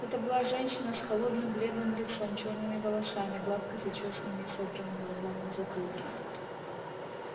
это была женщина с холодным бледным лицом чёрными волосами гладко зачёсанными и собранными узлом на затылке тут